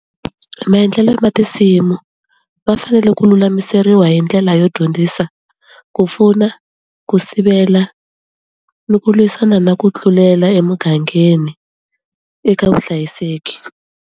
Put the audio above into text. Maendlelo ma tinsimu va fanele ku lulamiseriwa hi ndlela yo dyondzisa ku pfuna ku sivela ni ku lwisana na ku tlulela emugangeni eka vuhlayiseki.